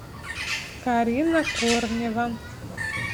карина корнева